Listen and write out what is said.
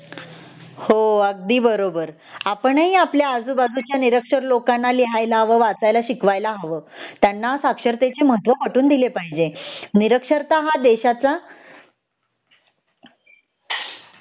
हो अगदी बरोबर आपण ही आपल्या आजूबाजूच्या निरक्षर लोकांना लिहायला वाचायला शिकवायला हव त्यांना साक्षरतेच महत्व पटवून द्यायला पाहिजे निरक्षरता हा देशाचा